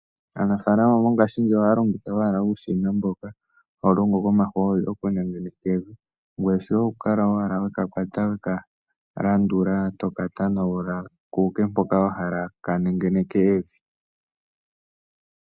Aanafalama mongaashingeyi ohaya longitha owala uushina mboka hawu longo komahooli okunengeneka evi, ngoye shoye okukala owala weka kwata weka landula toka tanagula kuuke mpoka wa hala ka nengeneke evi.